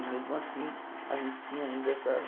E mesmo assim, a gente tinha ainda essa...